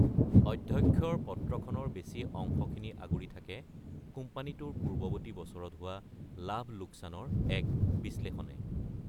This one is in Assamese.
অধ্যক্ষৰ পত্ৰখনৰ বেছি অংশখিনি অগুৰি থাকে কোম্পানীটোৰ পূৰ্বৱৰ্তী বছৰত হোৱা লাভ-লোকচানৰ এক বিশ্লেষণে।